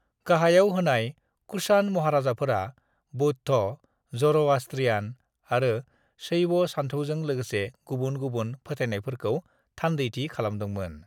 "गाहायाव होनाय कुषाण महाराजाफोरा बौद्ध, ज'र'आष्ट्रियान, आरो शैव सानथौजों लोगोसे गुबुन-गुबुन फोथायनायफोरखौ थान्दैथि खालामदोंमोन।"